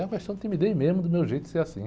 É uma questão de timidez mesmo, do meu jeito, ser assim.